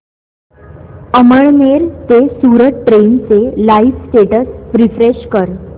अमळनेर ते सूरत ट्रेन चे live status refresh कर